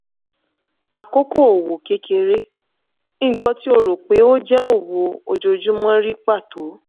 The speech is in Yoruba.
àkókò òwò kékeré: nǹkan tí o rò pé ó jẹ́ òwò ojoojúmọ́ rí pàtó.